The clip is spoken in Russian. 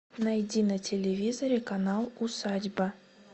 найди на телевизоре канал усадьба